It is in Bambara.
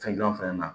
Fɛn gilan fana na